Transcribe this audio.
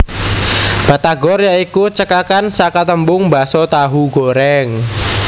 Batagor ya iku cekakan saka tembung Baso Tahu Goreng